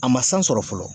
A ma san sɔrɔ fɔlɔ